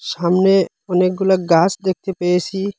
সামনে অনেকগুলা গাস দেখতে পেয়েসি।